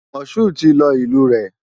Mashood ti lọ ìlú rẹ̀.